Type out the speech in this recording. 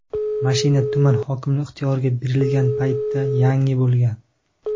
mashina tuman hokimligi ixtiyoriga berilgan paytda yangi bo‘lgan.